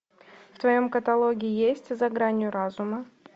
в твоем каталоге есть за гранью разума